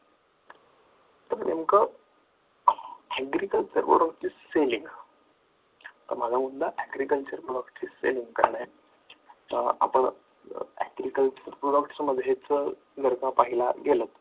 तर नेमकं agriculture product ची selling आता माझा मुद्दा agriculture product selling आहे त्यामुळे आपण agriculture product जर का पाहायला गेलोत